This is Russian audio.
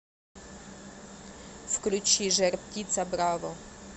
включи жар птица браво